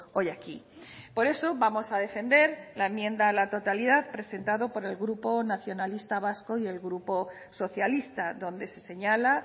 hoy aquí por eso vamos a defender la enmienda a la totalidad presentado por el grupo nacionalista vasco y el grupo socialista donde se señala